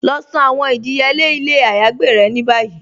Lọ san àwọn ìdíyèle ilẹ̀ àyágbè rẹ̀ ní báyí.